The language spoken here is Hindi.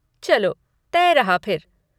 चलो, तय रहा फिर।